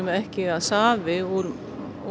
ekki að safi úr